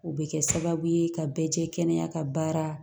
O bɛ kɛ sababu ye ka bɛɛ jɛ kɛnɛya ka baara